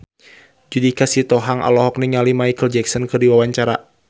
Judika Sitohang olohok ningali Micheal Jackson keur diwawancara